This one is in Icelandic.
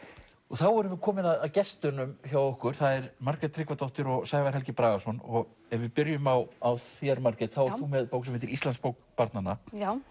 þá erum við komin að gestunum hjá okkur það eru Margrét Tryggvadóttir og Sævar Helgi Bragason ef við byrjum á á þér Margrét þá ert þú með bók sem heitir barnanna